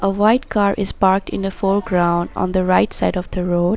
A white car is parked in the foreground on the right side of the road.